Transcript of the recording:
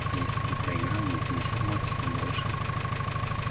а если бы проиграл не пятьдесят баксов а больше